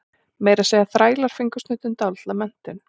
Meira að segja þrælar fengu stundum dálitla menntun.